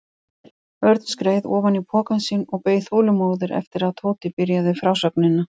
Örn skreið ofan í pokann sinn og beið þolinmóður eftir að Tóti byrjaði frásögnina.